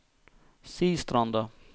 Sistranda